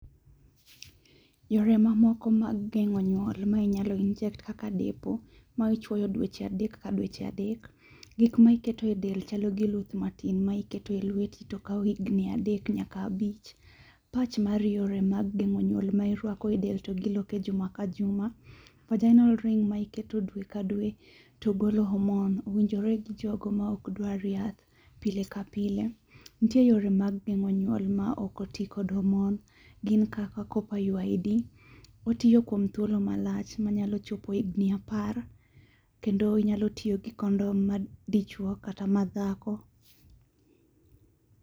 Yore mamoko mag geng'o nyuol ma inyalo inject kaka depo ma ichuoyo dweche adek ka dweche adek. Gik ma iketo e del chalo gi luth matin ma iketo e lweti to kao higni adek nyaka abich. Patch mar yore mag geng'o nyuol ma irwako e del to giloko e juma ka juma. Vaginal ring ma iketo dwe ka dwe to golo hormone owinjore gi jogo ma okdwar yath pile ka pile. Nitie yore mag geng'o nyuol ma ok oti kod hormone. Gin kaka copper IUD. Otiyo kuom thuolo malach manyalo chopo higni apar kendo inyalo tiyo gi condom mag dichuo kata mag dhako.